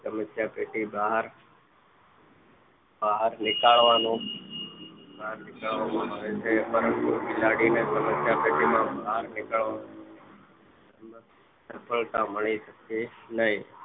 સમસ્યા પેટી ના બહાર બહાર નીકળવાનો બહાર નીકળવામાં આવે છે પરંતુ બિલાડીએ સમસ્યા પેટી ની બહાર નીકળવાનું સફળતા મળી શકે નહીં